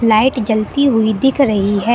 Light जलती हुई दिख रही है।